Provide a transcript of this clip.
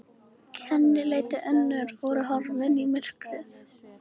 Kennileiti önnur voru horfin í myrkrið.